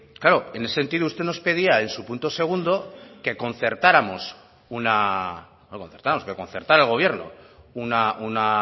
claro en ese sentido usted nos pedía en su punto segundo que concertara el gobierno una